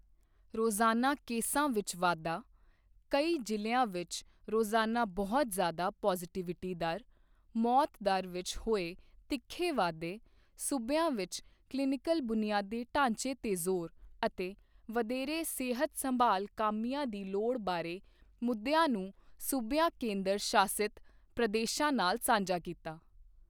ਰੋਜ਼ਾਨਾ ਕੇਸਾਂ ਵਿੱਚ ਵਾਧਾ, ਕਈ ਜ਼ਿਲ੍ਹਿਆ ਵਿੱਚ ਰੋਜ਼ਾਨਾ ਬਹੁਤ ਜਿ਼ਆਦਾ ਪੋਜ਼ੀਟੀਵਿਟੀ ਦਰ, ਮੌਤ ਦਰ ਵਿੱਚ ਹੋਏ ਤਿੱਖੇ ਵਾਧੇ, ਸੂਬਿਆਂ ਵਿੱਚ ਕਲੀਨਿਕਲ ਬੁਨਿਆਦੀ ਢਾਂਚੇ ਤੇ ਜ਼ੋਰ ਅਤੇ ਵਧੇਰੇ ਸਿਹਤ ਸੰਭਾਲ ਕਾਮਿਆਂ ਦੀ ਲੋੜ ਬਾਰੇ ਮੁੱਦਿਆਂ ਨੂੰ ਸੂਬਿਆਂ ਕੇਂਦਰ ਸ਼ਾਸਿਤ ਪ੍ਰਦੇਸ਼ਾਂ ਨਾਲ ਸਾਂਝਾ ਕੀਤਾ।